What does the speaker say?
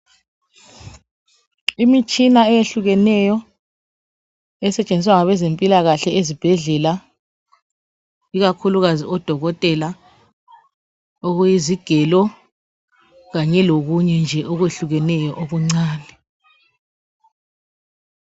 Imitshina eyehlukeneyo esetshenziswa ngabezempilakahle ezibhedlela ikakhulukazi ngodokotela okuyizigelo kanye lokunye nje okwehlukeneyo okuncane.